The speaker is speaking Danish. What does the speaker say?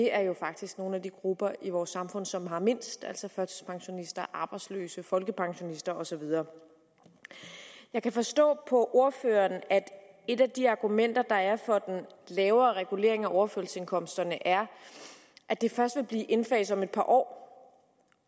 er faktisk nogle af de grupper i vores samfund som har mindst altså førtidspensionister arbejdsløse folkepensionister og så videre jeg kan forstå på ordføreren at et af de argumenter der er for den lavere regulering af overførselsindkomsterne er at den først vil blive indfaset om et par år